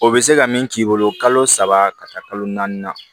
O bɛ se ka min k'i bolo kalo saba ka taa kalo naani na